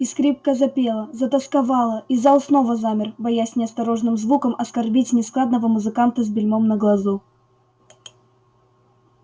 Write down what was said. и скрипка запела затосковала и зал снова замер боясь неосторожным звуком оскорбить нескладного музыканта с бельмом на глазу